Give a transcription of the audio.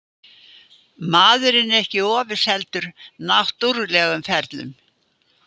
Maðurinn er ekki ofurseldur náttúrlegum ferlum.